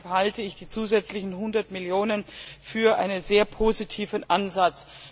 Deshalb halte ich die zusätzlichen 100 Millionen für einen sehr positiven Ansatz.